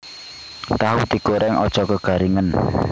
Tahu digoreng aja kegaringen